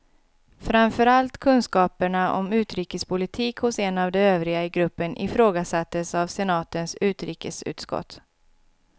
Framför allt kunskaperna om utrikespolitik hos en av de övriga i gruppen ifrågasattes av senatens utrikesutskott.